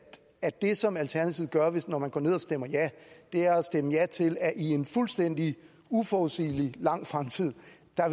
at det som alternativet gør når man går ned og stemmer ja er at stemme ja til at i en fuldstændig uforudsigelig lang fremtid